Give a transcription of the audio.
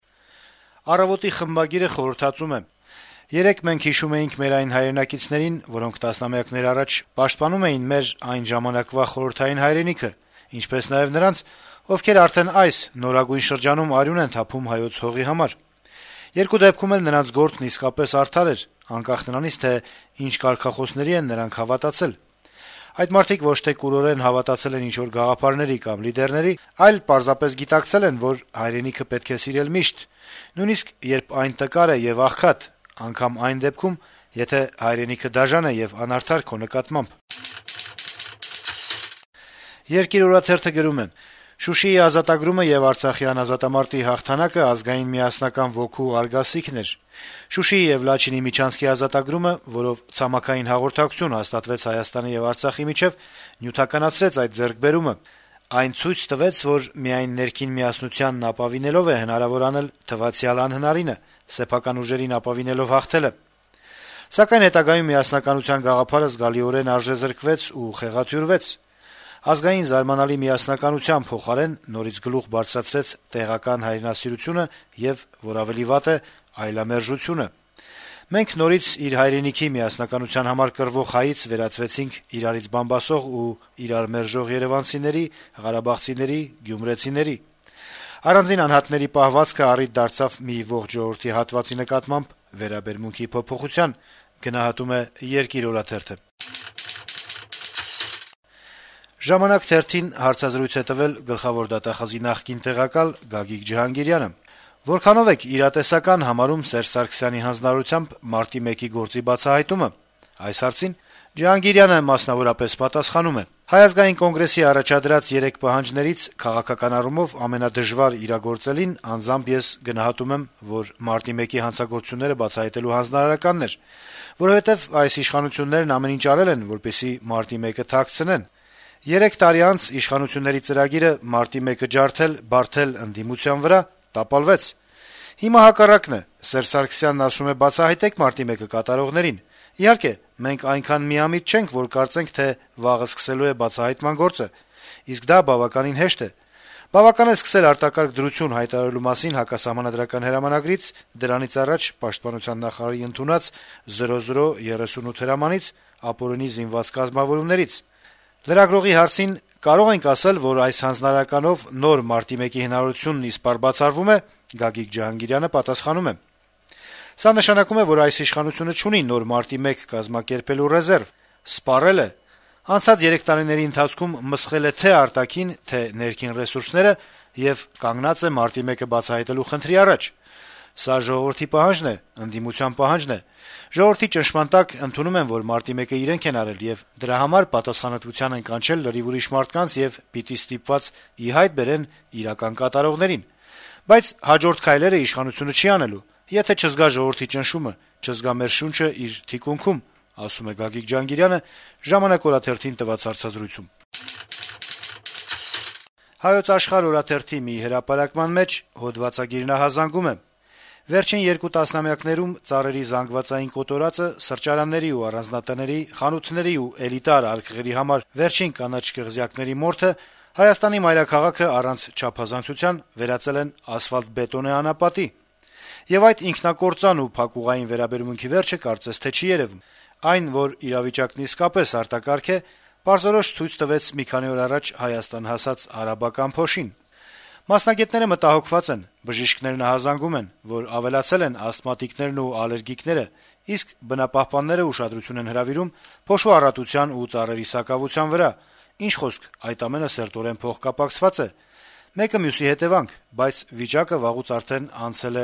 «Առավոտ»-ի խմբագիրը խորհրդածում է. - «Երեկ մենք հիշում էինք մեր այն հայրենակիցներին, որոնք տասնամյակներ առաջ պաշտպանում էին մեր այն ժամանակվա խորհրդային հայրենիքը, ինչպես նաեւ նրանց, ովքեր այս` նորագույն շրջանում արյուն են թափում իրենց հայրենի հողի համար: Երկու դեպքում էլ նրանց գործն իսկապես արդար էր` անկախ նրանից, թե ինչ կարգախոսների են նրանք հավատացել: Այդ մարդիկ ոչ թե կուրորեն հավատացել են ինչ-որ գաղափարների կամ լիդերների, այլ պարզապես գիտակցել են, որ հայրենիքը պետք է սիրել միշտ` նույնիսկ երբ այն տկար է եւ աղքատ, անգամ այն դեպքում, եթե հայրենիքը դաժան է եւ անարդար քո նկատմամբ»: «Երկիր» օրաթերթը գրում է. - «Շուշիի ազատագրումը եւ Արցախյան ազատամարտի հաղթանակը ազգային միասնական ոգու արգասիքն էր: Շուշիի եւ Լաչինի միջանցքի ազատագրումը, որով ցամաքային հաղորդակցություն հաստատվեց Հայաստանի եւ Արցախի միջեւ, նյութականացրեց այդ ձեռքբերումը: Այն ցույց տվեց, որ միայն ներքին միասնությանն ապավինելով է հնարավոր անել թվացյալ անհնարինը` սեփական ուժերին ապավինելով հաղթելը: Սակայն հետագայում միասնականության գաղափարը զգալիորեն արժեզրկվեց ու խեղաթյուրվեց: Ազգային զարմանալի միասնականության փոխարեն նորից գլուխ բարձրացրեց տեղական «հայրենասիրությունը» եւ, որ ավելի վատ է` այլամերժությունը: Մենք նորից իր հայրենիքի միասնականության համար կռվող հայից վերածվեցինք իրարից բամբասող ու իրար մերժող երեւանցիների, ղարաբաղցիների, գյումրեցիների... Առանձին անհատների պահվածքը առիթ դարձավ մի ողջ ժողովրդի հատվածի նկատմամբ վերաբերմունքի փոփոխության»: «Ժամանակ» թերթին հարցազրույց է տվել Գլխավոր դատախազի նախկին տեղակալ Գագիկ Ջհանգիրյանը: «Որքանո՞վ եք իրատեսական համարում գործի բացահայտման հավանականությունը հենց Սերժ Սարգսյանի հանձնարարությամբ» հարցին Ջհանգիրյանը պատասխանում է. - «ՀԱԿ-ի առաջադրած երեք պահանջներից քաղաքական առումով ամենադժվար իրագործելին անձամբ ես գնահատում եմ, որ Մարտի 1-ի հանցագործությունները բացահայտելու հանձնարարականն էր, որովհետեւ այս իշխանություններն ամեն ինչ արել են, որպեսզի Մարտի 1-ը թաքցնեն: Երեք տարի անց իշխանությունների ծրագիրը Մարտի 1-ը ջարդել, բարդել ընդդիմության վրա` տապալվեց: Հիմա հակառակն է, Սերժ Սարգսյանն ասում է` բացահայտեք Մարտի 1-ը կատարողներին: Իհարկե, մենք այնքան միամիտ չենք, որ կարծենք, թե վաղը սկսելու է բացահայտման գործը, իսկ դա բավականին հեշտ է: Բավական է սկսել արտակարգ դրություն հայտարարելու մասին հակասահմանադրական հրամանագրից, դրանից առաջ պաշտպանության նախարարի ընդունած 0038 հրամանից, ապօրինի զինված կազմավորումներից»: Հարցին, թե կարելի է ասել, որ այս հանձնարարականով նոր Մարտի 1-ի հնարավորությունն իսպառ բացառվում է», Գագիկ Ջհանգիրյանը պատասխանում է. - «Սա նշանակում է, որ այս իշխանությունը չունի նոր Մարտի 1 կազմակերպելու ռեզերվ, սպառել է: Անցած երեք տարիների ընթացքում մսխել է թե՛ արտաքին, թե՛ ներքին ռեսուրսները եւ կանգնած է Մարտի 1-ը բացահայտելու խնդրի առաջ: Սա ժողովրդի պահանջն է, ընդդիմության պահանջն է: Ժողովրդի ճնշման տակ ընդունում են, որ Մարտի 1-ը իրենք են արել եւ դրա համար պատասխանատվության են կանչել լրիվ ուրիշ մարդկանց եւ պիտի ստիպված ի հայտ բերեն իրական կատարողներին: Բայց հաջորդ քայլերը իշխանությունը չի անելու, եթե չզգա ժողովրդի ճնշումը, չզգա մեր շունչը իր թիկունքում»: «Հայոց Աշխարհ»-ի մի հրապարակման մեջ հոդվածագիրն ահազանգում է. - «Վերջին երկու տասնամյակներում ծառերի զանգվածային կոտորածը, սրճարանների ու առանձնատների, խանութների ու էլիտար արկղերի համար վերջին կանաչ կղզյակների մորթը Հայաստանի մայրաքաղաքը, առանց չափազանցության, վերածել են ասֆալտբետոնե անապատի։ Եվ այդ ինքնակործան ու փակուղային վերաբերմունքի վերջը կարծես չի երեւում։ Այն, որ իրավիճակն իսկապես արտակարգ է, պարզորոշ ցույց տվեց մի քանի օր առաջ Հայաստան հասած արաբական փոշին: Մասնագետները մտահոգված են. բժիշկներն ահազանգում են, որ ավելացել են ասթմատիկներն եւ ալերգիկները, իսկ բնապահպանները ուշադրություն են հրավիրում փոշու առատության ու ծառերի սակավության վրա։ Ինչ խոսք, այդ ամենը սերտորեն փոխկապակցված է, մեկը մյուսի հետեւանք։ Բայց վիճակը վաղուց անցել է